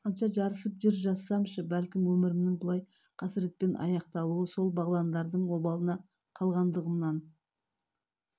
алысқанша жарысып жыр жазсамшы бәлкім өмірімнің бұлай қасыретпен аяқталуы сол бағландардың обалына қалғандығымнан